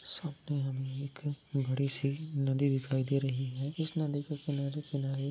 सामने हमे एक बड़ी सी नदी दिखाई दे रही है| इस नदी के किनारे-किनारे--